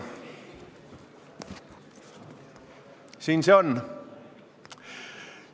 Siin see on.